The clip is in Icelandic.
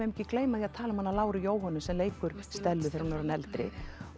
ekki gleyma því að tala um hana Láru Jóhönnu sem leikur Stellu þegar hún er orðin eldri